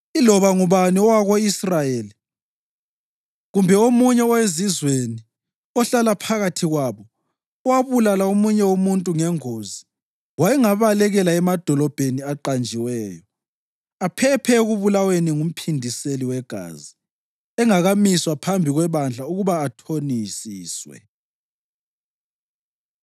Iloba ngubani owako-Israyeli kumbe omunye owezizweni ohlala phakathi kwabo owabulala omunye umuntu ngengozi wayengabalekela emadolobheni aqanjiweyo, aphephe ekubulaweni ngumphindiseli wegazi engakamiswa phambi kwebandla ukuba athonisiswe.